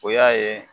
O y'a ye